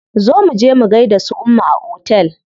Zo muje mu gaida su umma a otel.